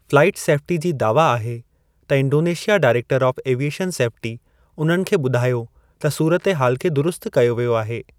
Flight safety जी दावा आहे त इंडोनेशियाई डायरेक्टर ऑफ़ एविएशन सेफ़्टी उन्हनि खे ॿुधायो त सूरत हाल खे दुरुस्त कयो वियो आहे।